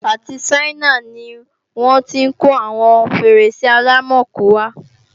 Àti Ṣáínà ni wọ́n tí kó àwọn Fèrèsé Àlámakò wá